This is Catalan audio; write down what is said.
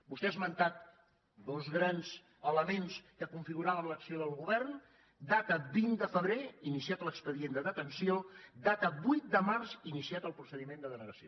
vostè ha esmentat dos grans elements que configuraven l’acció del govern data vint de febrer iniciat l’expedient de detenció data vuit de març iniciat el procediment de denegació